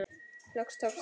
Loks tókst það.